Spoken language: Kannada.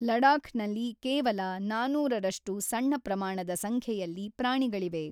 ಲಡಾಖ್‌ನಲ್ಲಿ ಕೇವಲ ನಾನೂರರಷ್ಟು ಸಣ್ಣ ಪ್ರಮಾಣದ ಸಂಖ್ಯೆಯಲ್ಲಿ ಪ್ರಾಣಿಗಳಿವೆ.